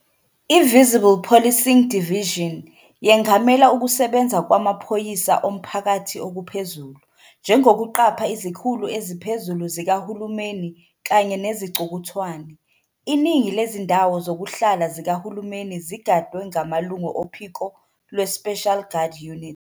I- "Visible Policing Division" yengamela ukusebenza kwamaphoyisa omphakathi okuphezulu, njengokuqapha izikhulu eziphezulu zikahulumeni kanye nezicukuthwane. Iningi lezindawo zokuhlala zikahulumeni zigadwe ngamalungu ophiko "lweSpecial Guard Unit".